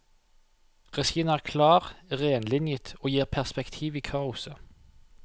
Regien er klar, renlinjet og gir perspektiv i kaoset.